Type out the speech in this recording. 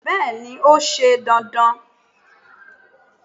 bẹẹni, o sẹ dandan